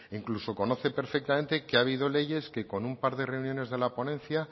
incluso conoce perfectamente que ha habido leyes que con un par de reuniones de la ponencia